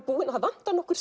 búinn og það vantar nokkur